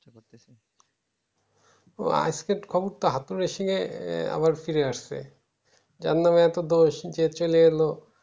ও আজকের খবর তো হাতুড়ে সিং এর আবার ফিরে আসছে জারনামে এতো দোষ যে চলে এলো